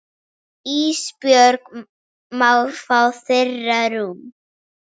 Ísbjörg má fá þeirra rúm.